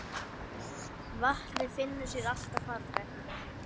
Vatnið finnur sér alltaf farveg.